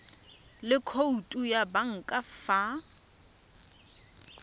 le khoutu ya banka fa